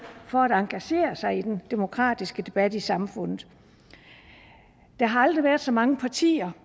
for at engagere sig i den demokratiske debat i samfundet der har aldrig været så mange partier